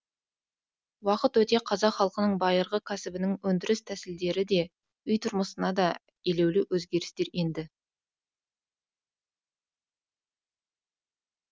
уақыт өте қазақ халқының байырғы кәсібінің өндіріс тәсілдері де үй тұрмысына да елеулі өзгерістер енді